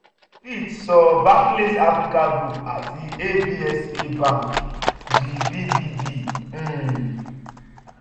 fitch sọ barclays africa group àti absa bank di 'bbb-' um